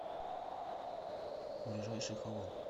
ближайший хавал